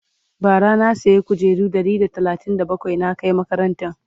bara na saya kujeru Ɗari da talatin da bakwai na Kai makarantan